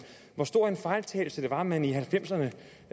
hvor stor en fejltagelse det var at man i nitten halvfemserne